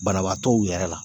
Banabaatɔw yɛrɛ la